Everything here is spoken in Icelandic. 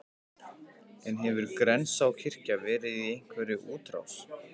En hefur Grensáskirkja verið í einhverri útrás?